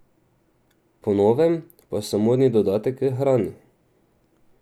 Po novem pa so modni dodatek k hrani.